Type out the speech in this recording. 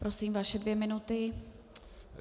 Prosím, vaše dvě minuty.